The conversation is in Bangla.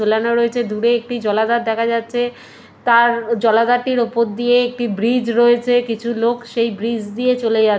ঝোলানো রয়েছে দূরে একটি জলাধার দেখা যাচ্ছে তার জলাধারটির উপর দিয়ে একটি ব্রিজ রয়েছে কিছু লোক সেই ব্রিজ দিয়ে চলে যাচ্ --